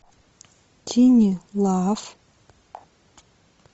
тини лав